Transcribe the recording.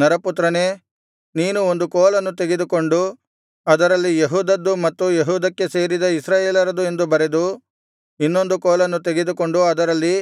ನರಪುತ್ರನೇ ನೀನು ಒಂದು ಕೋಲನ್ನು ತೆಗೆದುಕೊಂಡು ಅದರಲ್ಲಿ ಯೆಹೂದದ್ದು ಮತ್ತು ಯೆಹೂದಕ್ಕೆ ಸೇರಿದ ಇಸ್ರಾಯೇಲರದು ಎಂದು ಬರೆದು ಇನ್ನೊಂದು ಕೋಲನ್ನು ತೆಗೆದುಕೊಂಡು ಅದರಲ್ಲಿ